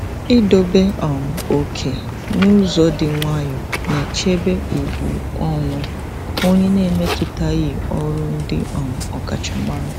Idobe um oke n'ụzọ dị nwayọọ na-echebe ùgwù onwe onye na-emetụtaghị ọrụ ndị um ọkachamara.